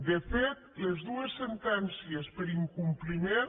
de fet les dues sentències per incompliment